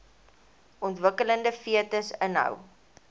ontwikkelende fetus inhou